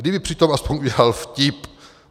Kdyby přitom alespoň udělat vtip.